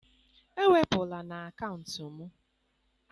ewepụla na akaụntụ m!